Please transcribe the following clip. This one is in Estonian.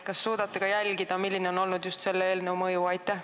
Kas te suudate jälgida, milline on olnud just selle eelnõu mõju?